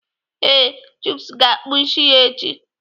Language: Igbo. Ee, Chuks ga-akpụ isi ya echi